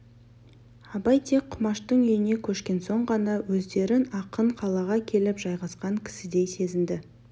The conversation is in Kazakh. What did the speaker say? абай тек құмаштың үйіне көшкен соң ғана өздерін анық қалаға келіп жайғасқан кісідей сезінді